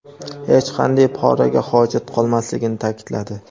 hech qanday poraga hojat qolmasligini ta’kidladi.